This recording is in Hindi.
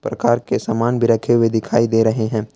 प्रकार के सामान भी रखे हुए दिखाई दे रहे हैं।